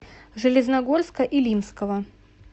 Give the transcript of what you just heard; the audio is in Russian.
железногорска илимского